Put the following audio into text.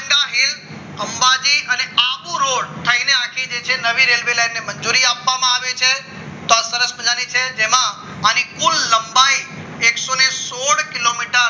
heel Ambaji અને આબુરોડ થઈને હજી જે છે રવિ રેલ્વે લાઈનને મંજૂરી આપવામાં આવે છે તો આ સરસ મજાની છે જેમાં આને કુલ લંબાઈ એકસો સોઢ કિલો meters